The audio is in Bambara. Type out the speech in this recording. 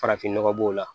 Farafin nɔgɔ b'o la